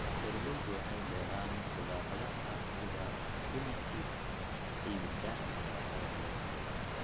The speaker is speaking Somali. Beeralaydu waxay beeraan khudradaha sida spinachi ciidda nafaqada leh.